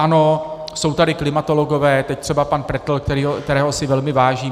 Ano, jsou tady klimatologové, teď třeba pan Pretel, kterého si velmi vážím.